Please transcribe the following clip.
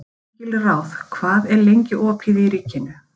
Engilráð, hvað er lengi opið í Ríkinu?